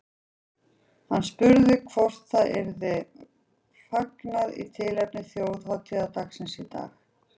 Hann var spurður hvort það yrði fagnað í tilefni þjóðhátíðardagsins í dag.